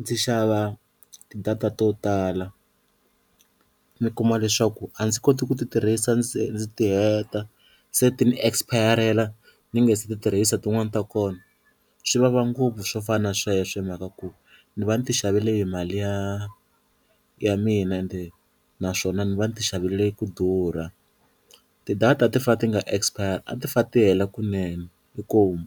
ndzi xava ti-data to tala ni kuma leswaku a ndzi koti ku ti tirhisa ndzi ndzi ti heta, se ti ni expire-rela ni nge se ti tirhisa tin'wani ta kona swi vava ngopfu swo fana na sweswo hi mhaka ku ni va ni ti xavele hi mali ya ya mina ende naswona ni va ni ti xavele ku durha, ti-data ti fane ti nga expire a ti fane ti hela kunene inkomu.